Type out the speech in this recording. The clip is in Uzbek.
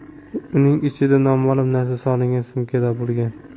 Uning ichidan noma’lum narsa solingan sumka topilgan.